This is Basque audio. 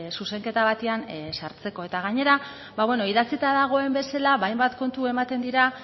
zuzenketa batean sartzeko eta gainera idatzita dagoen bezala ba hainbat kontu ematen dira